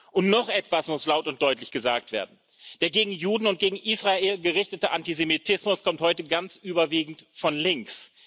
Und noch etwas muss laut und deutlich gesagt werden Der gegen Juden und gegen Israel gerichtete Antisemitismus kommt heute ganz überwiegend von links.